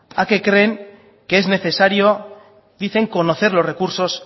a que creen que es necesario dicen conocer los recursos